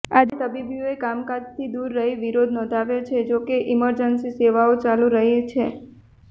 આજે તબિબોએ કામકાજથી દુર રહી વિરોધ નોંધાવ્યો છે જો કે ઇમરજન્સી સેવાઓ ચાલુ રહી છે